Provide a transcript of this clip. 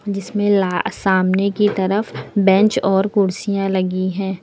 जिसमें ला सामने की तरफ बेंच और कुर्सियां लगी है।